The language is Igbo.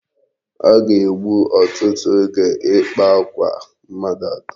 O ga-egbu otutu oge ịkpa akwa mmadụ atọ.